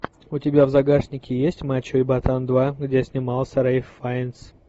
у тебя в загашнике есть мачо и ботан два где снимался рэйф файнс